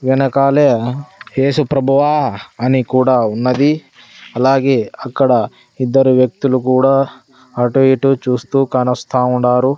వెనకాలే యేసుప్రభువా అని కూడా ఉన్నది అలాగే అక్కడ ఇద్దరు వ్యక్తులు కూడా అటుఇటు చూస్తూ కానస్తా వుండారు.